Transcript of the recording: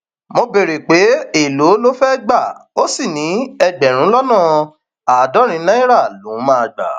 mo béèrè pé èèlò ló fẹẹ gbà ó sì ní ẹgbẹrún lọnà àádọrin náírà lòún máa gbà